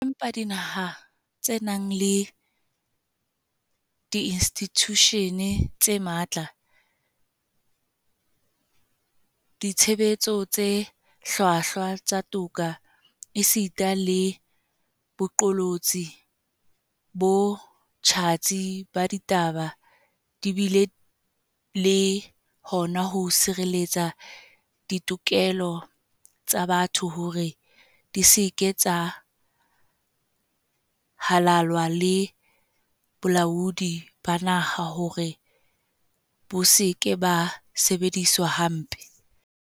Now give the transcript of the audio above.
Empa dinaha tse nang le diinstitjushene tse matla, ditshebetso tse hlwahlwa tsa toka esita le boqolotsi bo tjhatsi ba ditaba di bile le hona ho sireletsa ditokelo tsa botho hore di se ke tsa halalwa le bolaodi ba naha hore bo se ke ba sebediswa hampe.